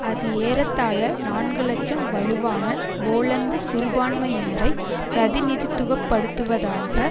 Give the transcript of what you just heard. அது ஏறத்தாழ நான்கு இலட்சம் வலுவான போலந்து சிறுபான்மையினரை பிரதிநிதித்துவ படுத்துவதாக